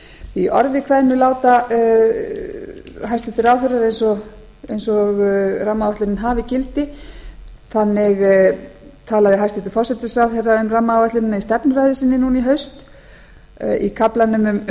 í orði kveðnu láta hæstvirtir ráðherrar eins og rammaáætlunin hafi gildi þannig talaði hæstvirtur forsætisráðherra um rammaáætlunina í stefnuræðu sinni núna í haust í kaflanum um